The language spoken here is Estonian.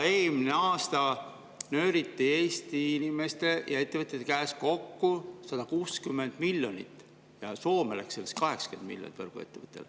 Eelmine aasta nööriti Eesti inimeste ja ettevõtjate käest kokku 160 miljonit ja Soome võrguettevõtjale läks sellest 80 miljonit.